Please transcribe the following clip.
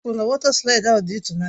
O kwuru na wọta slaịdị ahụ dị ịtụnanya.